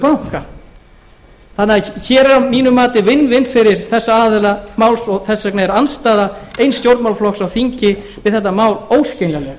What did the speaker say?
banka þannig að hér er að mínu mati fyrir þessa aðila máls og þess vegna er andstaða eins stjórnmálaflokks á þingi við þetta mál óskiljanlegt